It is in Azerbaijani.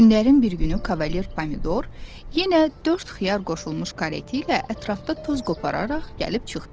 Günlərin bir günü Kavalier Pomidor yenə dörd xiyar qoşulmuş kareti ilə ətrafda toz qopararaq gəlib çıxdı.